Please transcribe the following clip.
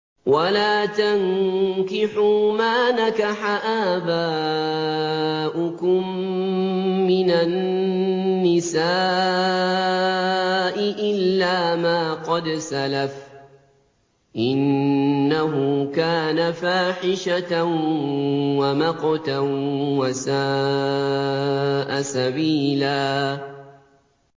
وَلَا تَنكِحُوا مَا نَكَحَ آبَاؤُكُم مِّنَ النِّسَاءِ إِلَّا مَا قَدْ سَلَفَ ۚ إِنَّهُ كَانَ فَاحِشَةً وَمَقْتًا وَسَاءَ سَبِيلًا